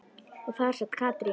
Og þar sat Katrín.